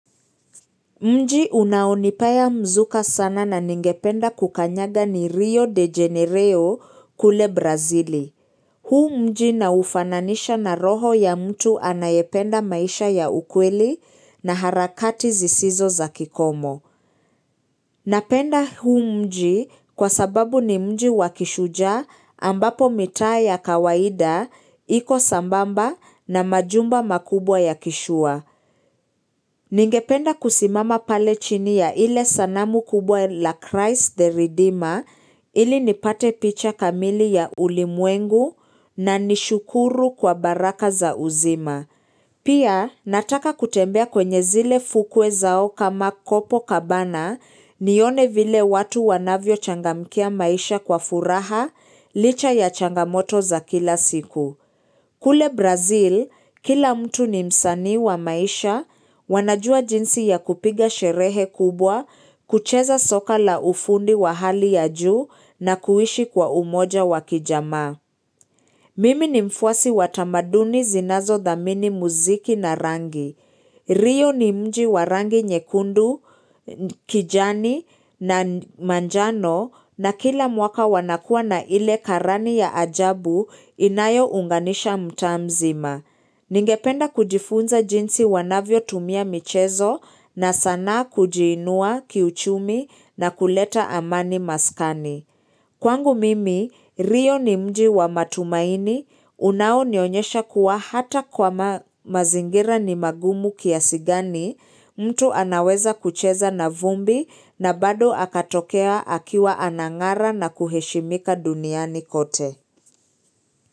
Mji unaonipea mzuka sana na ningependa kukanyanga ni Rio de Janeiro kule Brazili. Huu mji na ufananisha na roho ya mtu anayependa maisha ya ukweli na harakati zisizo za kikomo. Napenda huu mji kwa sababu ni mji wakishujaa ambapo mitaa ya kawaida, iko sambamba na majumba makubwa ya kishua. Ningependa kusimama pale chini ya ile sanamu kubwa la Christ the Redeemer ili nipate picha kamili ya ulimwengu na nishukuru kwa baraka za uzima. Pia nataka kutembea kwenye zile fukwe zao kama kopo kabana nione vile watu wanavyo changamkia maisha kwa furaha licha ya changamoto za kila siku. Kule Brazil, kila mtu ni msanii wa maisha, wanajua jinsi ya kupiga sherehe kubwa, kucheza soka la ufundi wa hali ya juu na kuishi kwa umoja wa kijamaa. Mimi ni mfuasi watamaduni zinazo dhamini muziki na rangi. Rio ni mji wa rangi nyekundu, kijani na manjano na kila mwaka wanakua na ile karani ya ajabu inayounganisha mtaa mzima. Ningependa kujifunza jinsi wanavyotumia michezo na sanaa kujiinua kiuchumi na kuleta amani maskani. Kwangu mimi, rio ni mji wa matumaini, unaonionyesha kuwa hata kwa mazingira ni magumu kiasi gani, mtu anaweza kucheza na vumbi na bado akatokea akiwa anang'ara na kuheshimika duniani kote.